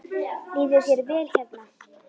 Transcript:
Líður þér vel hérna?